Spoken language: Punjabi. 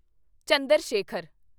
ਚੰਦਰ ਸ਼ੇਖਰ